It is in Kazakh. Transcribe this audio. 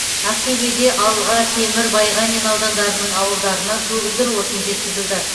ақтөбеде алға темір байғанин аудандарының ауылдарына көгілдір отын жеткізілді